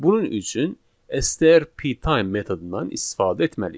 Bunun üçün STR P time metodundan istifadə etməliyik.